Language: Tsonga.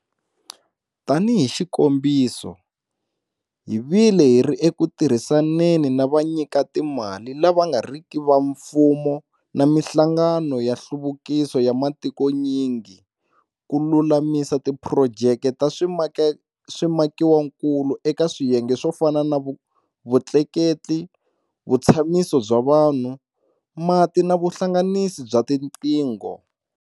Tanihi xikombiso, hi vile hi ri eku tirhisaneni na vanyikatimali lava nga riki va mfumo na mihlangano ya nhluvukiso ya matikonyingi ku lulamisa tiphurojeke ta swimakiwakulu eka swiyenge swo fana na vutleketli, vutshamiso bya vanhu, mati na vuhlanganisi bya tiqingho.